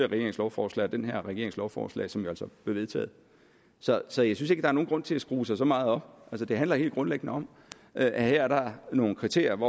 regerings lovforslag og den her regerings lovforslag som jo altså blev vedtaget så jeg synes ikke der er nogen grund til at skrue sig så meget op det handler helt grundlæggende om at her er der nogle kriterier